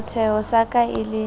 setsheho sa ka e le